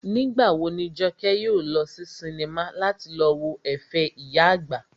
Nígbà wo ni Jọkẹ́ yóò lọ sí sinimá láti lọ wo ẹ̀fẹ̀ ìyá àgbà?